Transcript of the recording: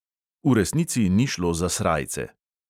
V resnici ni šlo za srajce.